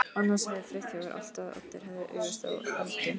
Annars sagði Friðþjófur alltaf að Oddur hefði augastað á Öldu.